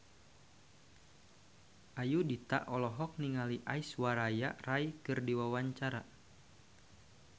Ayudhita olohok ningali Aishwarya Rai keur diwawancara